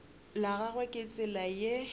la gagwe ke tsela ye